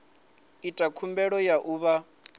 ita khumbelo ya u vha